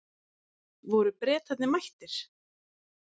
Voru Bretarnir mættir?